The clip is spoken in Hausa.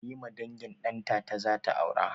Halima dangin ɗantata zata aura